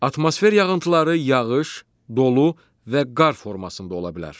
Atmosfer yağıntıları yağış, dolu və qar formasında ola bilər.